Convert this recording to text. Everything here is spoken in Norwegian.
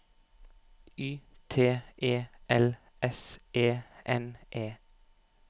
Y T E L S E N E